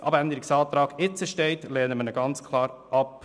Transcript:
Den Abänderungsantrag 3 der SP-JUSO-PSA-Fraktion lehnen wir ab.